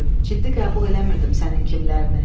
Ciddi qəbul eləmirdim sənin kimlərini.